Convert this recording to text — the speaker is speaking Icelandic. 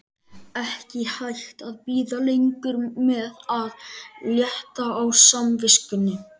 Ekki hægt að bíða lengur með að létta á samviskunni!